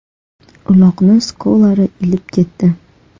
Uloqni Skolari ilib ketdi.